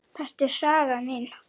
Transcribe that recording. Þetta er saga mín.